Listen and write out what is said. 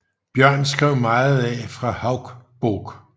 Bjørn skrev meget af fra Hauksbók